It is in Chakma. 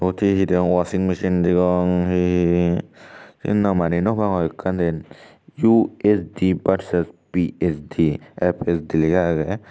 iyot he he degong waching machine degong he he namani nw pangor ekkan den UHD vs PHD FHD lega aage.